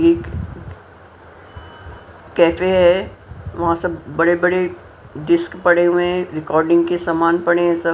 एक कैफे है वहां सब बड़े-बड़े डिस्क पड़े हुए हैं रिकॉर्डिंग के समान पड़े हैं सब --